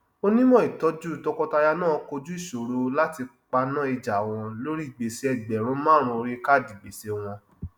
onímọ ìtọjú tọkọtaya náà kojú ìṣòro láti paná ìjà wọn lórí gbèsè ẹgbẹrún márùn orí káádì gbèsè wọn